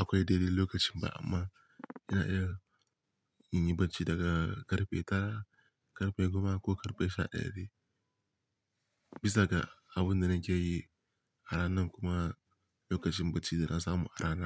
akwai dai dai lokacin ba amma ina iya yin bacci daga karfe tara, karfe goma ko karfe sha ɗaya dai. Bisa ga abin da nake yi a ranan kuma lokacin bacci da na samu a ranan.